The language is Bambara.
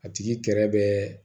A tigi kɛrɛ bɛ